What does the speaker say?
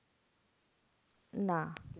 না